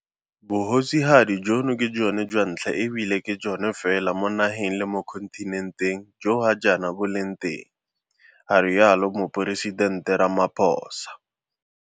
Bogosigadi jono ke jone jwa ntlha e bile ke jone fela mo nageng le mo kontinenteng jo ga jaana bo leng teng, ga rialo Moporesitente Ramaphosa.